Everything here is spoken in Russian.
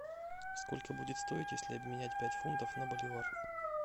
сколько будет стоить если обменять пять фунтов на боливар